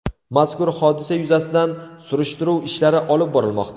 Mazkur hodisa yuzasidan surishtiruv ishlari olib borilmoqda.